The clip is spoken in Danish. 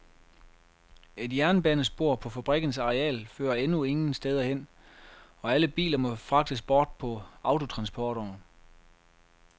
Et jernbanespor på fabrikkens areal fører endnu ingen steder hen, og alle biler må fragtes bort på autotransportere.